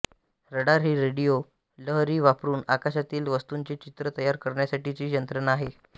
radar ही radio लहरी वापरून आकाशातील वस्तूंचे चित्र तयार करण्यासाठीची यंत्रणा आहे